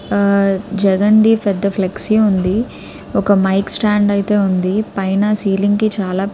ఆ జగన్ ది పెద్ద ఫ్లెక్సీ ఉంది ఒక మైక్ స్టాండ్ ఐతే ఉంది పైన సీలింగ్ కి చాలా --